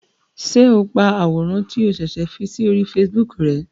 Ṣe o pá àwòrán ti o ṣẹṣẹ fí si ori Facebook rè?